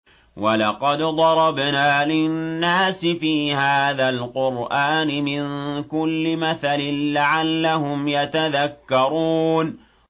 وَلَقَدْ ضَرَبْنَا لِلنَّاسِ فِي هَٰذَا الْقُرْآنِ مِن كُلِّ مَثَلٍ لَّعَلَّهُمْ يَتَذَكَّرُونَ